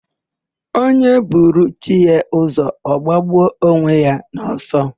Onye buru chi ya ụzọ, ọ gbagbuo onwe ya n'ọsọ.